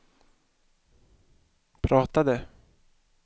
pratade